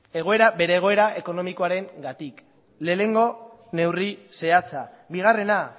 bere egoera ekonomikoarengatik lehenengo neurri zehatza bigarrena